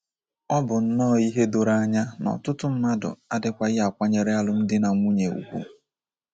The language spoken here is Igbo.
O bụ nnọọ ihe doro anya na ọtụtụ mmadụ adịkwaghị akwanyere alụmdi na nwunye ùgwù.